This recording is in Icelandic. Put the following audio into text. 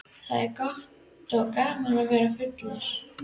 Það er gott og gaman að vera fullur.